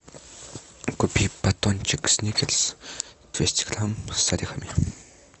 купи батончик сникерс двести грамм с орехами